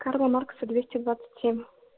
карла маркса двести двадцать семь